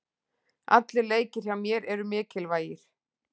Allir leikir hjá mér eru mikilvægir.